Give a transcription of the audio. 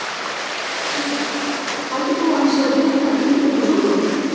Heimir: Heldur þú að hann sé að blikka Ingibjörgu Sólrúnu?